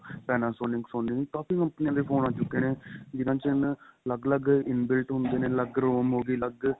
Panasonic Sony ਕਾਫੀ ਕੰਪਨੀਆਂ ਦੇ phone ਆ ਚੁਕੇ ਨੇ ਜਿੰਨਾ ਚ ਹੁਣ ਅੱਲਗ ਅੱਲਗ inbuilt ਹੁੰਦੇ ਨੇ ਅੱਲਗ ROM ਹੋ ਗਈ ਅੱਲਗ